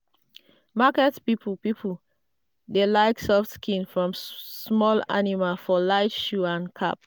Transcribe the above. market people people dey like soft skin from small animal for light shoe and cap.